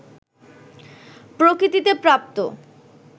প্রকৃতিতে প্রাপ্ত